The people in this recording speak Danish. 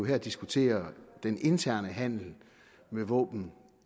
her diskuterer den interne handel med våben